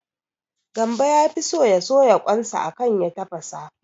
Gambo yafi so ya soya kwan sa akan ya tafasa